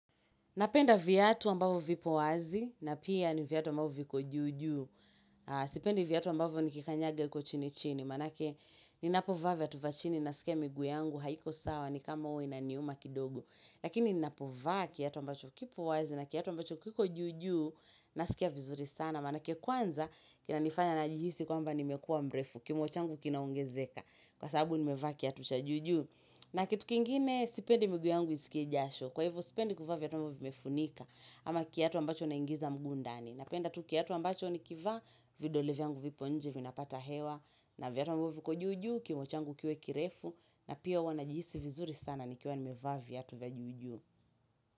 Napenda viatu ambavyo vipo wazi na pia ni viatu ambavyo viko juu juu. Sipendi viatu ambavyo nikikanyaga huko chini chini. Maana yake ni napovaa viatu vya chini nasikia miguu yangu haiko sawa ni kama huwa inaniuma kidogo. Lakini ni napovaa kiatu ambacho kipo wazi na kiatu ambacho kiko juu juu nasikia vizuri sana. Maana yake kwanza kinanifanya najihisi kwamba nimekua mrefu, kuino changu kinaongezeka. Kwa sababu nimevaa kiatu cha juu juu. Na kitu kingine sipendi miguu yangu isikie jasho. Kwa hivyo, spendi kuvaa viatu ambavyo vimefunika ama kiatu ambacho naingiza mguu ndani. Napenda tu kiatu ambacho nikivaa vidole vya yangu vipo nje vinapata hewa na viatu ambavyo viko juu juu, kiuno changu kiuwe kirefu na pia huwa najihisi vizuri sana nikiwa nimevaa viatu vya juu juu.